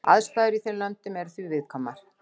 Aðstæður í þeim löndum eru því viðkvæmar.